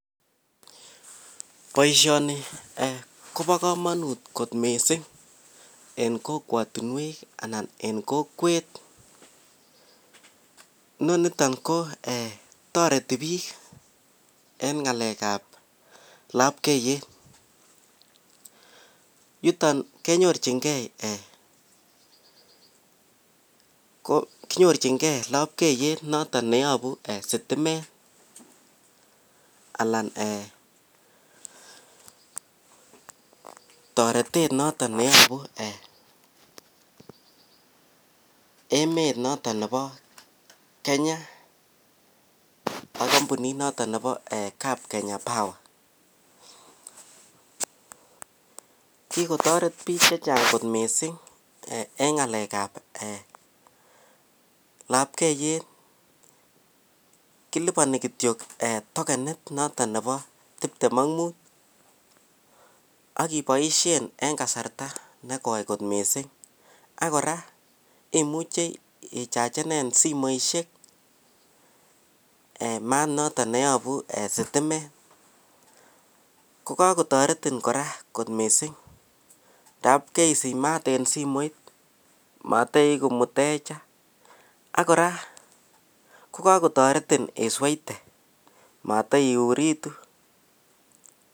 Boisyoni kobo kamanut kot mising en kokwatunwek anan KO en kokwet nenotion kotoreti bik en labkeiyet yuton kenyorchikei labkeiyet noton neyabu sitimet anan eeh taretet niton Nebo emet ab Kenya ak kampunit ab [Kenya power] kikotoret bik angot mising eng ng'alek ab labkeiyet, kilibani kityo tokenit notok Bo tip tem ak mut iboishen kasarta nekoi ako kora ichachane simoisyek mat notok nebunu sitimet kokakotaretin kora missing tab kaisich mat en simoit mataieku mutecha akora kakotaretin isweite mataiuritu